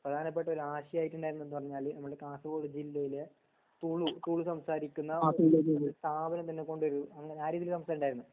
പ്രധാനപ്പെട്ട ഒരു ആശയായിട്ട് ണ്ടന്നത് നമുടെ കാസർകോട് ജില്ലയിലെ തുളു തുളു സംസാരിക്കുന്ന സ്ഥാപനം തന്നെ കൊണ്ട് വെരും ആ രീതീല് സംസാരം ണ്ടന്നു